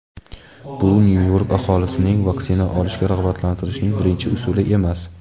bu Nyu-York aholisini vaksina olishga rag‘batlantirishning birinchi usuli emas.